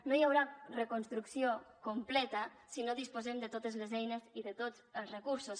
no hi haurà reconstrucció completa si no disposem de totes les eines i de tots els recursos